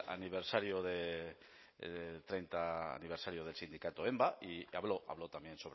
aniversario del treinta aniversario del sindicato enba y habló habló también